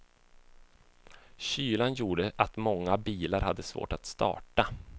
Kylan gjorde att många bilar hade svårt att starta.